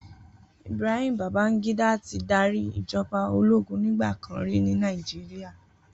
Ibrahim Babangida ti dàrí ijòbá ólógún nigbàkán ri ni Nàijiriá